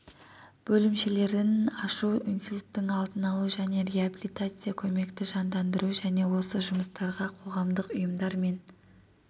бөлімшелерін ашу инсульттің алдын алу және реабилитацилық көмекті жандандыру және осы жұмыстарға қоғамдық ұйымдар мен